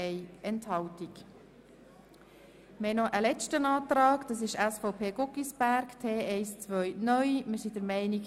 Regierungsrat/ BaK gegen Antrag BDP [Leuenberger, Trubschachen])